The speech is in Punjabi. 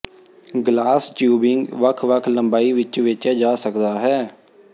ਗਲਾਸ ਟਿਊਬਿੰਗ ਵੱਖ ਵੱਖ ਲੰਬਾਈ ਵਿੱਚ ਵੇਚਿਆ ਜਾਂਦਾ ਹੈ